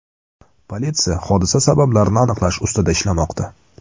Politsiya hodisa sabablarini aniqlash ustida ishlamoqda.